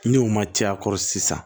Ni o ma ca a kɔrɔ sisan